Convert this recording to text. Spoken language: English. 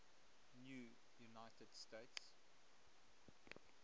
new united states